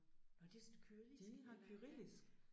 Nåh det sådan et kyrillisk alfabet